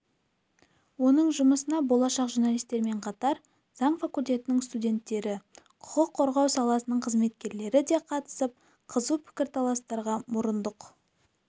оның жұмысына болашақ журналистермен қатар заң факультетінің студенттері құқық қорғау саласының қызметкерлері де қатысып қызу пікірталастарға мұрындық